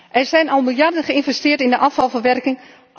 Er zijn al miljarden geïnvesteerd in de afvalverwerking.